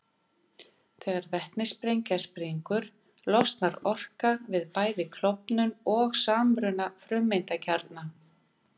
Þegar vetnissprengja springur losnar orka við bæði klofnun og samruna frumeindakjarna.